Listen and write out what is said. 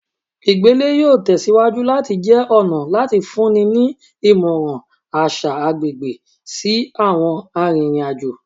igbele yoo tẹsiwaju lati jẹ ọna lati funni ni imọran aṣa agbegbe si awọn aririn ajo